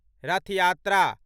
रथ यात्रा